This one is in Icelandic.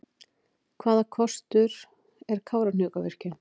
Hvaða kostur er Kárahnjúkavirkjun?